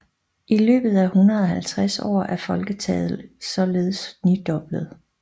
I løbet af 150 år er folketallet således nidoblet